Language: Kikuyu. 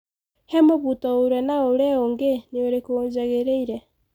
He mũbuto ũrĩa na ũrĩa ũngĩ nĩ ũrĩkũ ũjangĩrĩire.